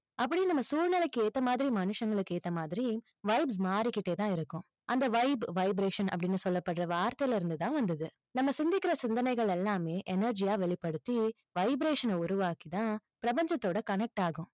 அப்படின்னு நம்ம சூழ்நிலைக்கு ஏத்த மாதிரி, மனுஷங்களுக்கு ஏத்த மாதிரி vibes மாறிக்கிட்டே தான் இருக்கும். அந்த vibe vibration அப்படின்னு சொல்லப்படுற வார்த்தைல இருந்து தான் வந்துது. நம்ம சிந்திக்கிற சிந்தனைகள் எல்லாமே energy யா வெளிப்படுத்தி vibration அ உருவாக்கி தான் பிரபஞ்சத்தோட connect ஆகும்.